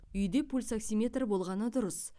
үйде пульсоксиметр болғаны дұрыс